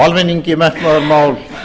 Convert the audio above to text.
almenningi metnaðarmál